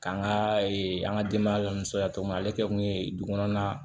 K'an ka an ka denbaya lasɔrɔya togo min na ale kɛ kun ye dugukɔnɔ na